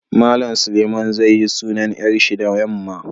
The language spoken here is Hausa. Mallam Suleiman zai yi sunan yar shi da yamma.